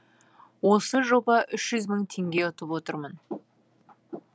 осы жоба үш мың теңге ұтып отырмын